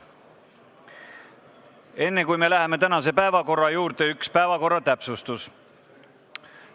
Enne, kui me läheme tänase päevakorra juurde, üks päevakorra täpsustus.